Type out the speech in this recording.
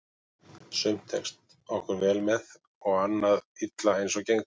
Sumt tekst okkur vel með og annað illa eins og gengur.